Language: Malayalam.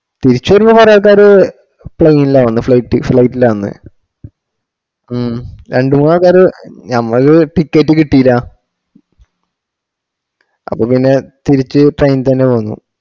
തിരിച്‌ വരുന്ന കൊറെആൾക്കാര് plane ല വന്നേ flightflight ല വന്നേ ഉം രണ്ട് മൂന്ന് ആൾകാര് ഞമ്മക് ticket കിട്ടീല അപ്പൊ പിന്നെ തിരിച് train തന്നെ വന്നു